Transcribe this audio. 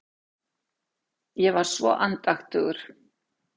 Ég var svo andaktugur.